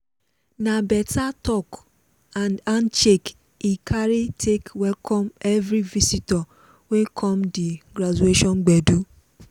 na better talk and handshake he carry take welcome everi visitor wey come di graduation gbedu.